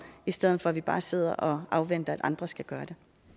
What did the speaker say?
i stedet for at vi bare sidder og afventer at andre skal gøre